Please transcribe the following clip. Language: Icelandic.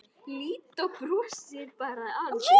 Lídó brosir bara að þessu.